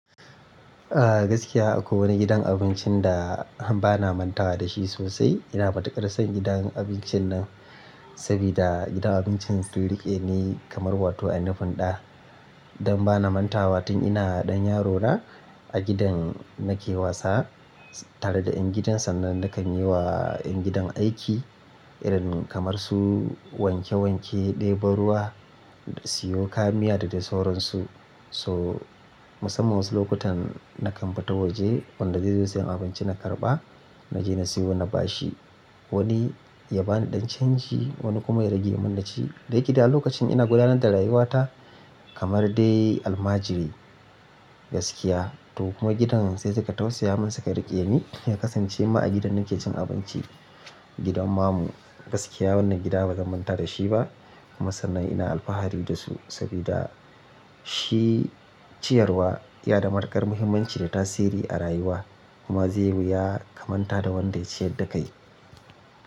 Ah gaskiya akwai wani gidan abincin da bana mantawa da shi sosai. Ina matuƙar son gidan abincin nan sabida gidan abincin sun riƙe ni kamar wato a nufin ɗa. Dan bana mantawa tun ina ɗan yarona a gidan nake wasa tare da ƴan gidan sannan nakan yi wa ƴan gidan aiki irin kamar su wanke wanke ɗebo ruwa da siyo kayan miya da dai sauransu. So musamman wasu lokutan na kan fita waje wanda zai zo sayan abinci na karɓa naje na siyo na bashi. Wani ya bani ɗan canji wani kuma ya rage mun naci. Da yike da lokacin ina gudanar da rayuwata kamar dai almajiri gaskiya. To kuma gidan sai suka tausaya mun suka riƙe ni ya kasance ma a gidan nake cin abinci gidan mamu. Gaskiya wannan gida bazan manta da shi ba. Kuma sannan ina alfahari da su sabida shi ciyarwa yana da matuƙar muhimmanci da tasiri a rayuwa kuma zai wu ya kamanta da wanda ya ciyar da kai.